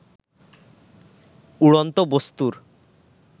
উড়ন্ত বস্তু্র